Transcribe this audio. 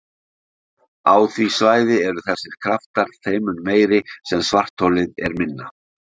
Á því svæði eru þessir kraftar þeim mun meiri sem svartholið er minna.